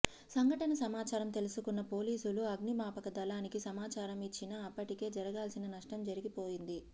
సంఘటన సమాచారం తెలుసుకున్న పోలీసులు అగ్ని మాపక దళానికి సమాచారం ఇచ్చినా అప్పటికే జరగాల్సిన నష్టం జరిగిపోయింది